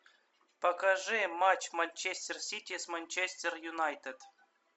покажи матч манчестер сити с манчестер юнайтед